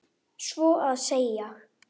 Svo að segja.